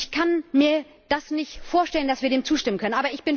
Ich kann mir nicht vorstellen, dass wir dem zustimmen können.